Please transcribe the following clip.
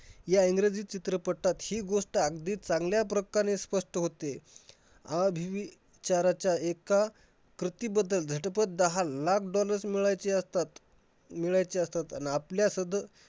ह्या इंग्रजी चित्रपटात हि गोष्ट अगदी चांगल्या प्रकारे स्पष्ट होते. आधी चाराच्या एका कृतीबद्दल झटपट दहा लाख dollars मिळायचे असतात. मिळायचे असतात आणि आपल्या सद्